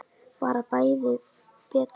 Bara bæði betra.